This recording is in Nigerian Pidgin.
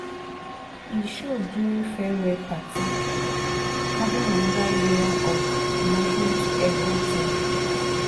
he show during farewell party adding another layer of emotion to everything.